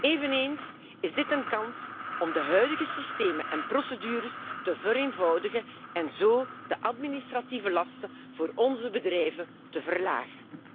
Eveneens is dit een kans om de huidige systemen en procedures te vereenvoudigen en zo de administratieve lasten voor onze bedrijven te verlagen.